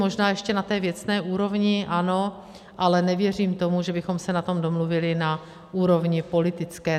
Možná ještě na té věcné úrovni, ano, ale nevěřím tomu, že bychom se na tom domluvili na úrovni politické.